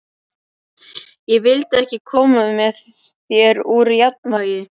Ég vildi ekki koma þér úr jafnvægi.